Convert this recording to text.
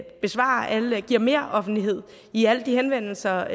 vi giver meroffentlighed i alle de henvendelser